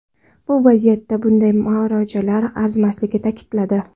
Bu vaziyatda bunday mojarolar arzimasligini ta’kidladi.